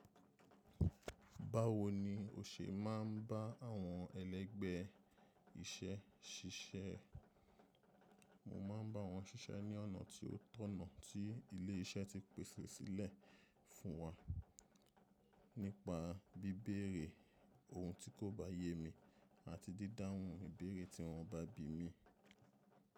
Báwo ni o ṣe má ń bá àwọn ẹlẹ́gbẹ́ iṣẹ́ ṣiṣẹ́? Mo má ń bá wọn ṣiṣẹ́ ní ọ̀nà tí ó tọ̀nà tí ilé-iṣẹ́ ti pèsẹ sílẹ̀ fún wa nípa bí bére ohun tí kò bá yé mi àti dídá hun ìbéèrè tí wọ́n bá bi mí.